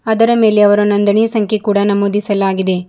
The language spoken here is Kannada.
ಅದರ ಮೇಲೆ ಅವರು ನೊಂದಣಿ ಸಂಖ್ಯೆ ಕೂಡ ನಮೂದಿಸಲಾಗಿದೆ.